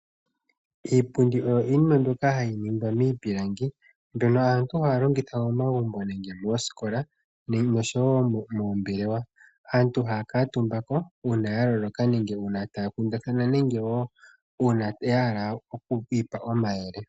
Iipundi oyo iinima mbyoka hayi ningwa miipilangi mbyono aantu haya longitha momagumbo nenge moskola oshowo moombelewe, aantu haya kuutumba ko uuna yaloloka nenge taya kundathana nenge wo uuna yahala okwiipa omayele.